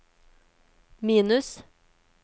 minus